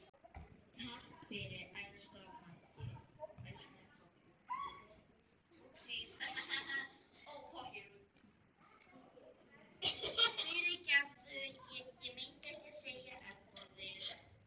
Takk fyrir, elsku Maggi.